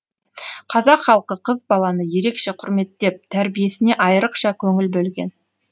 қазақ халқы қыз баланы ерекше құрметтеп тәрбиесіне айрықша көңіл бөлген